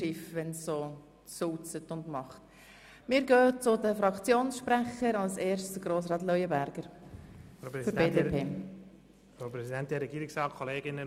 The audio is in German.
Im Frühling hat man allerdings manchmal schon den Eindruck, dass es sich um Schiffe handelt, wenn der Schnee sehr sulzig wird.